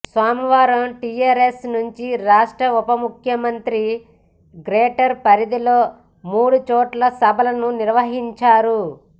సోమవారం టిఆర్ఎస్ నుంచి రాష్ట్ర ఉప ముఖ్యమంత్రి గ్రేటర్ పరిధిలో మూడు చోట్ల సభలను నిర్వహించారు